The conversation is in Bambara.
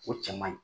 O cɛ man ɲi